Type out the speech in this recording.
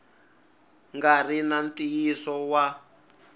nga ri na ntiyiso wa